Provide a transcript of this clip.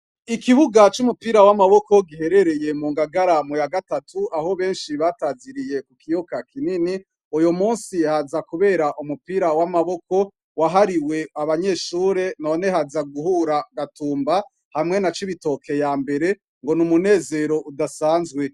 Ikibuga c' umupira w' amaboko giherereye mu ngagara muya gatatu , aho benshi bataziriye ku kiyoka kinini, uyumunsi haza kubera' umupira w' amaboko wahariwe abanyeshure none haza guhura Gatumba hamwe na Cibitoke ya mbere ngo numunezer' udasanzwe.